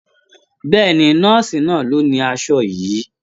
Bẹ́ẹ̀ni, nọ́ọ̀sì náà ló ni aṣọ yìí.